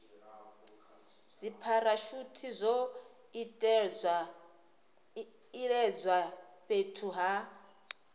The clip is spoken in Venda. dzipharashuthi zwo iledzwa fhethu ha